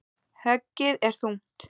Höggið er þungt.